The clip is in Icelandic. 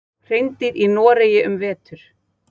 Hreindýr í Noregi um vetur.